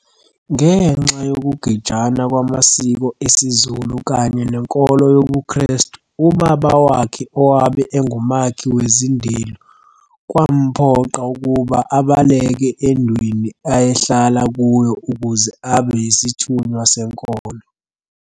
Ngenxa yokugejana kwamsiko esiZulu kanye nenkolo yobuKhrestu ubaba wakhe owabe engumakhi wezindelu kwamphoqa ukuba abaleke endweni ayehlala kuyo ukuze abe yisithunywa senkolo.